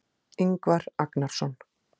Ingvar Agnarsson.